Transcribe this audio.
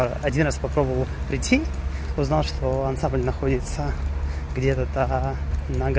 один раз попробовал прийти узнал что ансамбль находится где-то